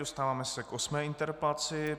Dostáváme se k osmé interpelaci.